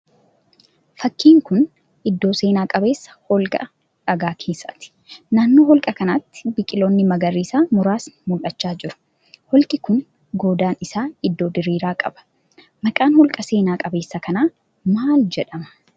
Fakkiin kun iddoo seenaa qabeessa holqa dhagaa keessaati. Naannoo holqa kanaatti biqiloonni magariisaa muraasni mul'achaa jiru. Holqi kun goodaan isaa iddoo diriiraa qaba. Maqaan holqa seena qabeessa kanaa maal jedhama?